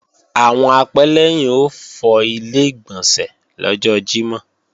Àwọn apẹ́lẹ́yìn ó fọ Ilé-ìgbọ̀nsẹ̀ lọ́jọ́ Jímọ̀